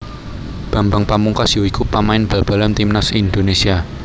Bambang Pamungkas ya iku pamain bal balan timnas Indonésia